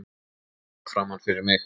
Starði fram fyrir mig.